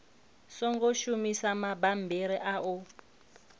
songo shumisa mabammbiri a u